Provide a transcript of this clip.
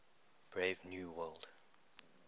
brave new world